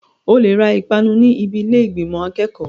O lè ra ìpanu ní ibi ilé ìgbìmò akẹ́kọ̀ọ́.